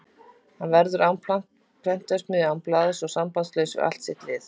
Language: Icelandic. Hann verður án prentsmiðju, án blaðs og sambandslaus við allt sitt lið.